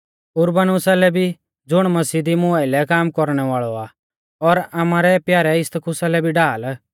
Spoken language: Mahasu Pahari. उरबानुसा लै भी ज़ुण मसीह दी मुं आइलै काम कौरणै वाल़ौ आ और आमारै प्यारै इस्तखुसा लै भी ढाल